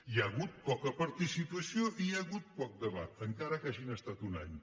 hi ha hagut poca participació i hi ha hagut poc debat encara que hagin estat un any